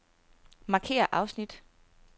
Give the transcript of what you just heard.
Markér afsnit.